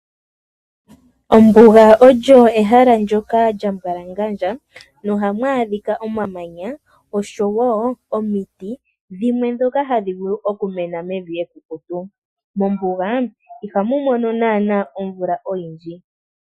Ombuga olyo ehala ndyoka lya mbwalangandja nohamu adhika omamanya oshowo omiti dhimwe ndhoka hadhi vulu okumena mevi ekukutu. Mombuga ihamu mono lela omvula oyindji.